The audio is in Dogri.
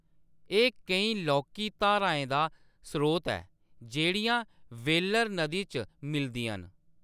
एह्‌‌ केईं लौह्‌‌‌की धाराएं दा स्रोत ऐ जेह्‌‌ड़ियां वेल्लर नदी च मिलदियां न।